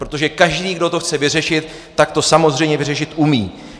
Protože každý, kdo to chce vyřešit, tak to samozřejmě vyřešit umí.